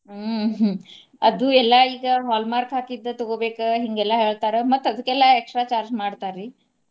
ಹ್ಮ ಹ್ಮ ಅದು ಎಲ್ಲಾ ಈಗ hallmark ಹಾಕಿದ್ದ ತಗೋಬೇಕ ಹಿಂಗೆಲ್ಲಾ ಹೇಳ್ತಾರ ಮತ್ತ ಅದ್ಕೆಲ್ಲಾ extra charge ಮಾಡ್ತಾರಿ.